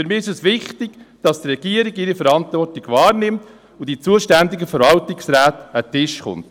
Für mich ist es wichtig, dass die Regierung ihre Verantwortung wahrnimmt und die zuständigen Verwaltungsräte an den Tisch kommen.